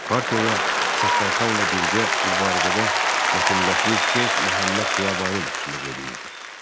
Partiyaya Səttarxanla birgə bu arada da Şeyx Məhəmməd Xiyabani başçılıq eləyirdi.